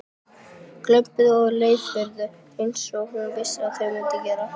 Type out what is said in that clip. Glömpuðu og leiftruðu einsog hún vissi að þau mundu gera.